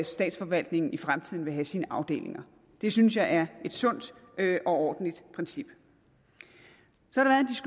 statsforvaltningen i fremtiden vil have sine afdelinger det synes jeg er et sundt og ordentligt princip